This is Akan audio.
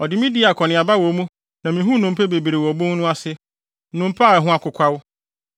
Ɔde me dii akɔneaba wɔ mu na mihuu nnompe bebree wɔ obon no ase, nnompe a ɛho akokwaw.